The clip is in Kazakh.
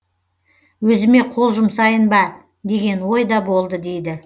өзіме қол жұмсайын ба деген ой да болды дейді